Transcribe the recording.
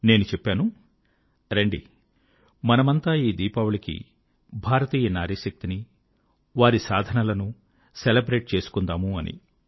నేను చెప్పాను రండి మనమంతా ఈ దీపావళికి భారతీయ నారీశక్తి ని వారి సాధనలను సెలబ్రేట్ చేసుకుందాము అని